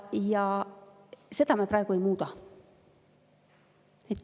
Ja seda me praegu ei muuda.